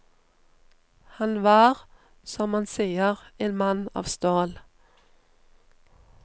Han var, som man sier, en mann av stål.